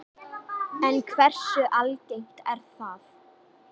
En hversu algengt er það?